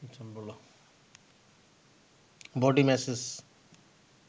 body massage